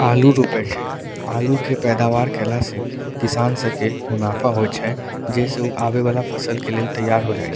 आलू रोपे के है अल्लू के पैदावार कैला से किसान स के मुनाफा होय छै जैसे आवे वाला फसल के लिए तैयार हो जाय --